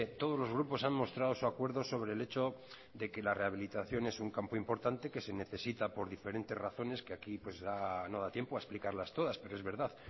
todos los grupos han mostrado su acuerdo sobre el hecho de que la rehabilitación es un campo importante que se necesita por diferentes razones que aquí no da tiempo a explicarlas todas pero es verdad